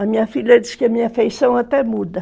A minha filha diz que a minha afeição até muda.